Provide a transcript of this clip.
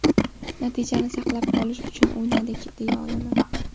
Natijani saqlab qolish uchun o‘ynadik deya olaman.